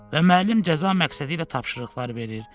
Və müəllim cəza məqsədilə tapşırıqlar verir.